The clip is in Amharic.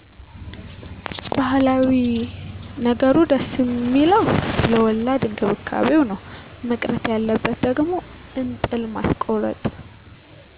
ባህላዊ ነገሩ ደስ ሚለዉ ለወላድ እክብካቤ ነው መቅረት ያለበት ደግሞ እጥል ማስኮረጥ